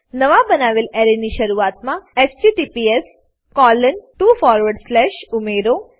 નવા બનાવેલા એરેની શરૂઆતમા https ઉમેરો